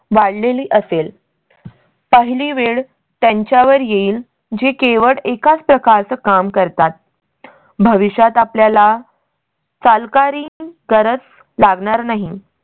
वाढलेली असेल. पहिली वेळ त्यांच्या वर येईल जे केवळ एकाच प्रकार चं काम करतात भविष्यात आपल्याला. चालकारी गरज लागणार नाही